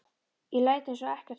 Ég læt eins og ekkert sé.